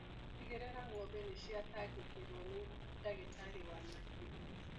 Tigĩrĩra ngombe nĩciatangĩkĩrwo nĩ ndagĩtarĩ wa mahiũ.